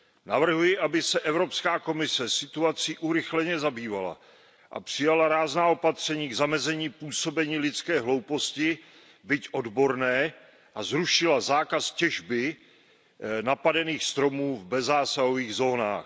Navrhuji, aby se Evropská komise situací urychleně zabývala a přijala rázná opatření k zamezení působení lidské hlouposti, byť odborné, a zrušila zákaz těžby napadených stromů v bezzásahových zónách.